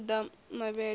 ri u ḓa mavhele na